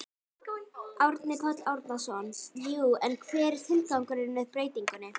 Árni Páll Árnason: Jú en hver er tilgangurinn með breytingunni?